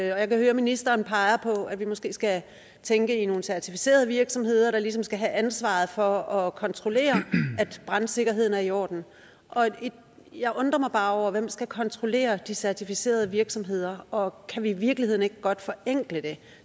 jeg kan høre at ministeren peger på at vi måske skal tænke i nogle certificerede virksomheder der ligesom skal have ansvaret for at kontrollere at retssikkerheden er i orden jeg undrer mig bare over hvem der skal kontrollere de certificerede virksomheder og kan vi i virkeligheden ikke godt forenkle det